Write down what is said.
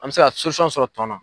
An mɛ se ka sɔrɔ tɔn na.